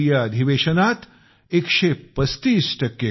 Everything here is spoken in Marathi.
मी हे यासाठी सांगत आहे कारण यासाठी सर्व खासदार अभिनंदनास पात्र आहेत